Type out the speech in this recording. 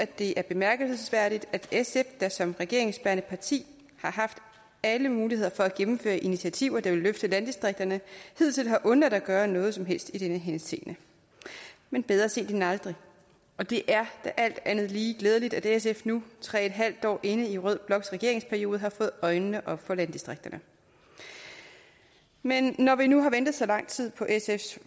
det er bemærkelsesværdigt at sf der som regeringsbærende parti har haft alle muligheder for at gennemføre initiativer der ville løfte landdistrikterne hidtil har undladt at gøre noget som helst i den henseende men bedre sent end aldrig og det er da alt andet lige glædeligt at sf nu tre en halv år inde i rød bloks regeringsperiode har fået øjnene op for landdistrikterne men når vi nu har ventet så lang tid på sfs